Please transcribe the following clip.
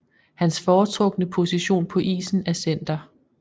Hans foretrukne position på isen er center